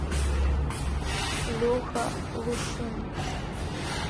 леха лушин